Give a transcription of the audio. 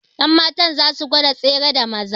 Yanmatan za su gwada tsere da Maza